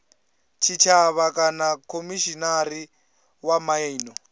tshitshavha kana khomishinari wa miano